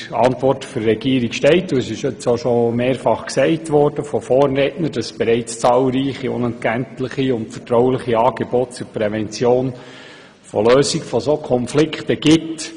In der Regierungsantwort steht, dass bereits zahlreiche unentgeltliche und vertrauliche Angebote zur Prävention und Lösung solcher Konflikte bestehen.